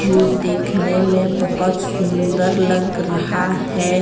जो देखने में बहोत सुंदर लग रहा है ।